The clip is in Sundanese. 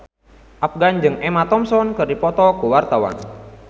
Afgan jeung Emma Thompson keur dipoto ku wartawan